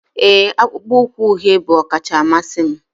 ee, akpụkpọ ụkwụ uhie bụ ọkacha mmasị m